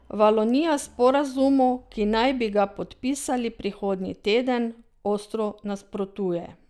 Valonija sporazumu, ki naj bi ga podpisali prihodnje teden, ostro nasprotuje.